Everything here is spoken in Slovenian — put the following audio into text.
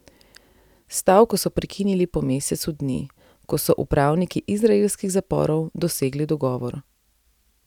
S stavko so prekinili po mesecu dni, ko so z upravniki izraelskih zaporov dosegli dogovor.